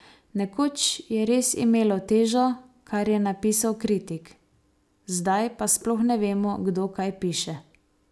Nekoč je res imelo težo, kar je napisal kritik, zdaj pa sploh ne vemo, kdo kaj piše.